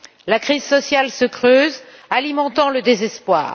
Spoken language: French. La crise sociale se creuse, alimentant le désespoir.